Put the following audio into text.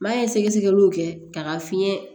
N'a ye sɛgɛsɛgɛliw kɛ k'a ka fiɲɛ